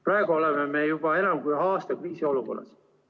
Praegu oleme juba enam kui aasta kriisiolukorras.